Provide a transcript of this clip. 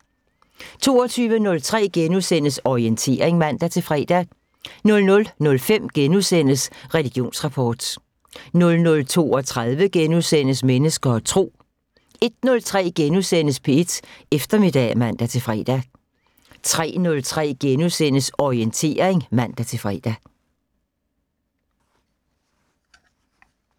22:03: Orientering *(man-fre) 00:05: Religionsrapport * 00:32: Mennesker og Tro * 01:03: P1 Eftermiddag *(man-fre) 03:03: Orientering *(man-fre)